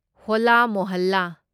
ꯍꯣꯜꯂꯥ ꯃꯣꯍꯜꯂꯥ